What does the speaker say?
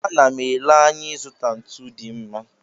Ana m ele anya ịzụta ntu dị mma.